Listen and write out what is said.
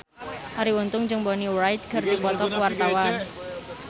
Arie Untung jeung Bonnie Wright keur dipoto ku wartawan